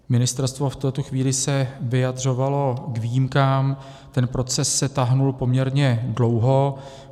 Ministerstvo v této chvíli se vyjadřovalo k výjimkám, ten proces se táhl poměrně dlouho.